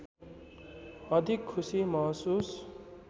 अधिक खुसी महसुस